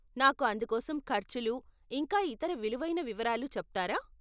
నాకు అందుకోసం ఖర్చులు, ఇంకా ఇతర విలువైన వివరాలు చెప్తారా?